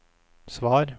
svar